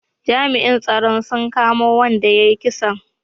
Jami'in tsaro sun kama wanda ya yi kisan